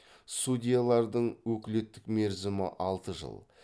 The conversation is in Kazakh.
судьялардың өкілеттік мерзімі алты жыл